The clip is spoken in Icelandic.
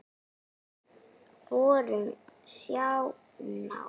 Við vorum svo náin.